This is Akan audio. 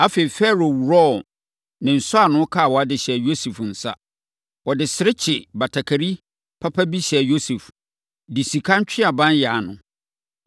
Afei, Farao worɔɔ ne nsɔano kawa de hyɛɛ Yosef nsa. Ɔde serekye batakari papa bi hyɛɛ Yosef, de sika ntweaban yan no.